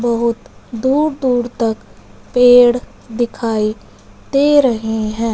बहोत दूर दूर तक पेड़ दिखाई दे रहे है।